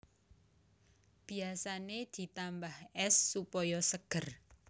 Biasané ditambah ès supaya seger